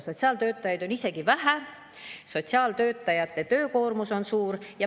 Sotsiaaltöötajaid on isegi vähe, sotsiaaltöötajate töökoormus on suur.